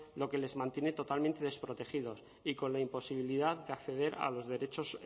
lo que les mantiene totalmente desprotegidos y con la imposibilidad de acceder a los derechos